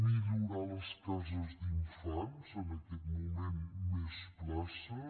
millorar les cases d’infants en aquest moment més places